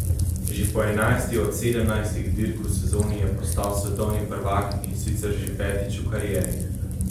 Že po enajsti od sedemnajstih dirk v sezoni je postal svetovni prvak, in sicer že petič v karieri.